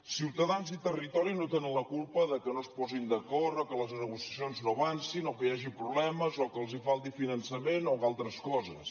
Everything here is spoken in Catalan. ciutadans i territori no tenen la culpa de que no es posin d’acord o que les negociacions no avancin o que hi hagi problemes o que els hi falti finançament o altres coses